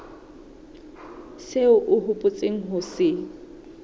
seo o hopotseng ho se